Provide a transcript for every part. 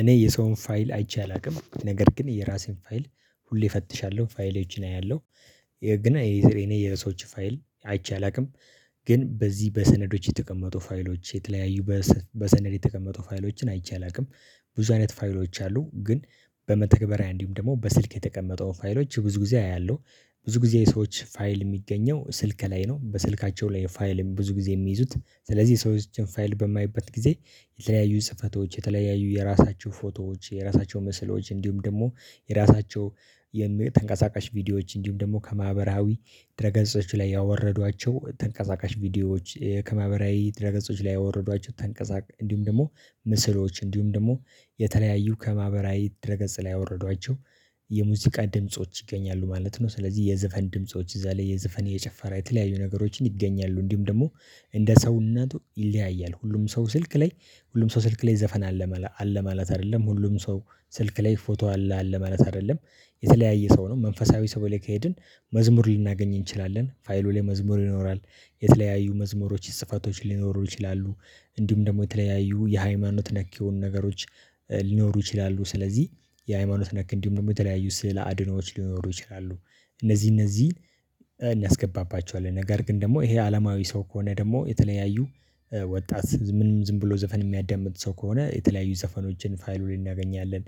እኔ የሰውን ፋይል አይቼ አላውቅም ነገር ግን የራሴን ፋይል ሁሌ እፈትሻለሁ ፋይሌዎችን አያለሁ ያው ግን እኔ የሰዎችን ፋይል አይቼ አላውቅም። ግን በዚህ በሰነዶች የተቀመጡ ፋይሎች የተለያዩ በሰነድ የተቀመጡ ፋይሎችን አይቼ አላውቅም። ብዙ አይነት ፋይሎች አሉ ግን። በመተግበሪያ እንዲሁም ደግሞ በስልክ የተቀመጠው ፋይሎች ብዙ ጊዜ አያለሁ ብዙ ጊዜ የሰዎች ፋይል የሚገኘው ስልክ ላይ ነው። በስልካቸው ላይ ፋይልን ብዙ ጊዜ የሚይዙት ስለዚህ የሰዎችን ፋይል በማይበት ጊዜ። የተለያዩ ስህተቶች የተለያዩ የራሳቸው ፎቶዎች የራሳቸው ምስሎች እንዲሁም ደግሞ የራሳቸው የተንቀሳቃሽ ቪዲዮዎች እንዲሁም ደግሞ ከማህበራዊ ድረ ገጾች ላይ ያወረዷቸው ተንቀሳቃሽ ቪዲዮዎች ከማህበራዊ ድረገጾች ላይ ያወረዷቸው ተንቀሳቃሽ እንዲሁም ደግሞ ምስሎች እንዲሁም ደግሞ የተለያዩ ከማህበራዊ ድረ ገጽ ላይ ያወረዷቸው የሙዚቃ ድምጾች ይገኛሉ ማለት ነው። ስለዚህ የዘፈን ድምጾች እዛ ላይ የዘፈን የጨፈራ የተለያዩ ነገሮችን ይገኛሉ እንዲሁም ደግሞ እንደ ሰውነቱ ይለያያል። ሁሉም ሰው ስልክ ላይ ሁሉም ሰው ስልክ ላይ ዘፈን አለ አለ ማለት አይደለም ሁሉም ሰው ስልክ ላይ ፎቶ አለ አለ ማለት አይደለም። የተለያየ ሰው ነው መንፈሳዊ ሰው ላይ ከሄድን መዝሙር ልናገኝ እንችላለን ፋይሉ ላይ መዝሙር ይኖራል። የተለያዩ መዝሙሮች ጽፈቶች ሊኖሩ ይችላሉ። እንዲሁም ደግሞ የተለያዩ የሃይማኖት ነክ የሆኑ ነገሮች ሊኖሩ ይችላሉ። ስለዚህ የሃይማኖት ነክ እንዲሁም ደግሞ የተለያዩ ስዕል አድኖች ሊኖሩ ይችላሉ። እነዚህ እነዚህ እናስገባባቸዋለን ነገር ግን ደግሞ ይሄ አለማዊ ሰው ከሆነ ደግሞ የተለያዩ ወጣት ምንም ዝም ብሎ ዘፈን የሚያዳምጥ ሰው ከሆነ የተለያዩ ዘፈኖችን ፋይሉ ላይ እናገኛለን።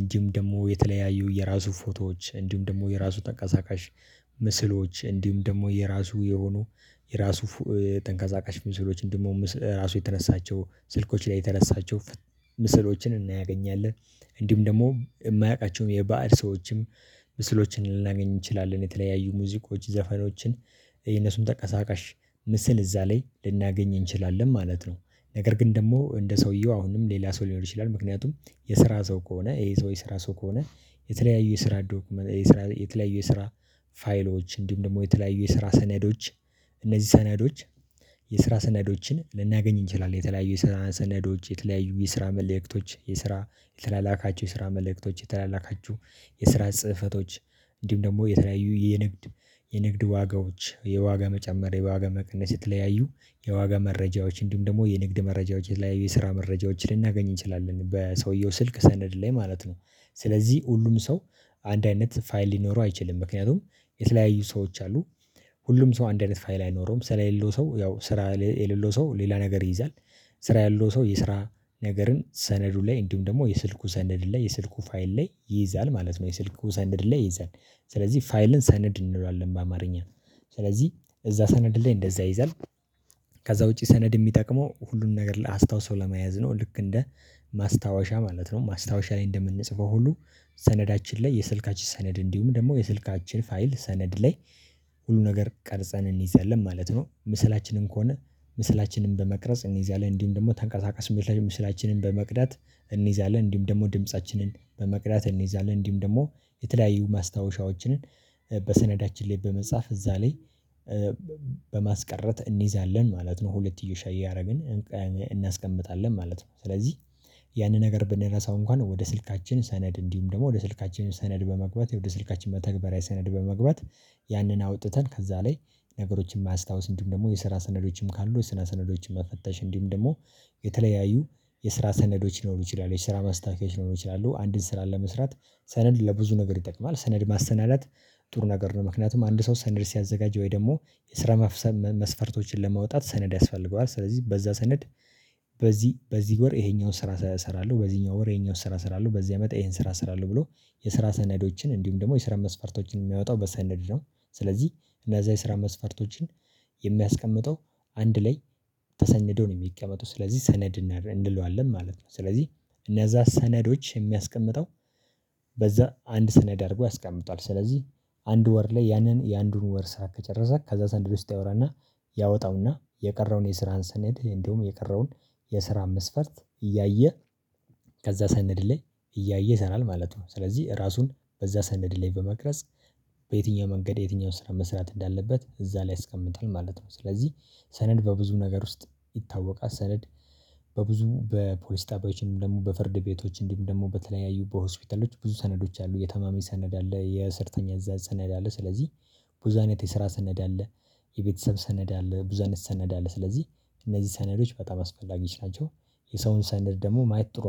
እንዲሁም ደግሞ የተለያዩ የራሱ ፎቶዎች እንዲሁም ደግሞ የራሱ ተንቀሳቃሽ ምስሎች እንዲሁም ደግሞ የራሱ የሆኑ የራሱ ተንቀሳቃሽ ምስሎች እንዲሁም ራሱ የተነሳቸው ስልኮች ላይ የተነሳቸው ምስሎችን እናገኛለን። እንዲሁም ደግሞ የማያውቃቸውም የባዕድ ሰዎችም ምስሎችን ልናገኝ እንችላለን የተለያዩ ሙዚቆች ዘፈኖችን የነሱን ተንቀሳቃሽ ምስል እዛ ላይ ልናገኝ እንችላለን ማለት ነው። ነገር ግን ደግሞ እንደ ሰውዬው አሁንም ሌላ ሰው ሊኖር ይችላል ምክንያቱም የስራ ሰው ከሆነ ይሄ ሰው የስራ ሰው ከሆነ። የተለያዩ የስራ የተለያዩ የስራ ፋይሎች እንዲሁም ደግሞ የተለያዩ የስራ ሰኔዶች እነዚህ ሰነዶች የስራ ሰነዶችን ልናገኝ እንችላለን። የተለያዩ የስራ ሰነዶች የተለያዩ የስራ መልእክቶች የስራ የተላላካቸው የስራ መልእክቶች የተላላካቸው የስራ ጽህፈቶች እንዲሁም ደግሞ የተለያዩ የንግድ የንግድ ዋጋዎች የዋጋ መጨመር የዋጋ መቀነስ የተለያዩ የዋጋ መረጃዎች እንዲሁም ደግሞ የንግድ መረጃዎች የተለያዩ የስራ መረጃዎች ልናገኝ እንችላለን በሰውየው ስልክ ሰነድ ላይ ማለት ነው። ስለዚህ ሁሉም ሰው አንድ አይነት ፋይል ሊኖረው አይችልም ምክንያቱም የተለያዩ ሰዎች አሉ። ሁሉም ሰው አንድ አይነት ፋይል አይኖረውም ስራ የሌለው ሰው ያው ስራ የሌለው ሰው ሌላ ነገር ይይዛል። ስራ ያለው ሰው የስራ ነገርን ሰነዱን ላይ እንዲሁም ደግሞ የስልኩ ሰነድ ላይ የስልኩ ፋይል ላይ ይይዛል ማለት ነው። የስልኩ ሰነድ ላይ ይይዛል ስለዚህ ፋይልን ሰነድ እንለዋለን በአማርኛ ስለዚህ እዛ ሰነድ ላይ እንደዛ ይይዛል። ከዛ ውጪ ሰነድ የሚጠቅመው ሁሉን ነገር አስታውሶ ለመያዝ ነው ልክ እንደ ማስታወሻ ማለት ነው። ማስታወሻ ላይ እንደምንጽፈው ሁሉ ሰነዳችን ላይ የስልካችን ሰነድ እንዲሁም ደግሞ የስልካችን ፋይል ሰነድ ላይ ሁሉ ነገር ቀርጸን እንይዛለን ማለት ነው። ምስላችንን ከሆነ ምስላችንን በመቅረጽ እንይዛለን እንዲህም ደግሞ ተንቀሳቀስ ምስላችንን በመቅዳት እንይዛለን እንዲህም ደግሞ ድምፃችንን በመቅዳት እንይዛለን እንዲሁም ደግሞ የተለያዩ ማስታወሻዎችንን በሰነዳችን ላይ በመጻፍ እዛ ላይ በማስቀረት እንይዛለን ማለት ነው። ሁለትዮሽ እያደረግን እናስቀምጣለን ማለት ነው። ስለዚህ ያንን ነገር ብንረሳው እንኳን ወደ ስልካችን ሰነድ እንዲሁም ደግሞ ወደ ስልካችን ሰነድ በመግባት ወደ ስልካችን መተግበሪያ ሰነድ በመግባት። ያንን አውጥተን ከዛ ላይ ነገሮችን ማስታውስ እንዲሁም ደግሞ የስራ ሰነዶችም ካሉ የስራ ሰነዶችን መፈተሽ እንዲሁም ደግሞ። የተለያዩ የስራ ሰነዶች ሊኖሩ ይችላሉ የስራ ማስታወቂያዎች ሊኖሩ ይችላሉ አንድን ስራ ለመስራት ሰነድ ለብዙ ነገር ይጠቅማል። ሰነድ ማሰናዳት ጥሩ ነገር ነው። ምክንያቱም አንድ ሰው ሰነድ ሲያዘጋጀ ወይ ደግሞ የስራ መስፈርቶችን ለማውጣት ሰነድ ያስፈልገዋል ስለዚህ በዛ ሰነድ። በዚህ በዚህ ወር ይሄኛውን ስራ እሰራለሁ በዚህኛው ወር ይሄኛውን ስራ ሰራለሁ በዚህ አመት ይሄን ስራ ሰራለሁ ብሎ የስራ ሰነዶችን እንዲሁም ደግሞ የስራ መስፈርቶችን የሚያወጣው በሰነድ ነው። ስለዚህ እነዛ የስራ መስፈርቶችን የሚያስቀምጠው አንድ ላይ ተሰንዶ ነው የሚቀመጡት ስለዚህ ሰነድ እንለዋለን ማለት ነው። ስለዚህ እነዛ ሰነዶች የሚያስቀምጠው በዛ አንድ ሰነድ አድርጎ ያስቀምጠዋል። ስለዚህ አንድ ወር ላይ ያንን የአንዱን ወር ስራ ከጨረሰ ከዛ ሰነደ ውስጥ ያወራና ያወጣው እና የቀረውን የስራን ሰነድ እንዲሁም የቀረውን የስራ መስፈርት እያየ ከዛ ሰነድ ላይ እያየ ይሰራል ማለት ነው። ስለዚህ ራሱን በዛ ሰነድ ላይ በመቅረጽ በየትኛው መንገድ የትኛውን ስራ መስራት እንዳለበት እዛ ላይ ያስቀምጣል ማለት ነው። ስለዚህ ሰነድ በብዙ ነገር ውስጥ ይታወቃል ሰነድ። በብዙ በፖሊስ ጣቢዎችም እንዲሁም ደግሞ በፍርድ ቤቶች እንዲም ደግሞ በተለያዩ በሆስፒታሎች ብዙ ሰነዶች አሉ። የታማሚ ሰነድ አለ የሰራተኛ እዛ ሰነድ አለ። ስለዚህ ብዙ አይነት የስራ ሰነድ አለ። የቤተሰብ ሰነድ አለ ብዙ አይነት ሰነድ አለ። ስለዚህ እነዚህ ሰነዶች በጣም አስፈላጊዎች ናቸው። የሰውን ሰነድ ደግሞ ማየት ጥሩ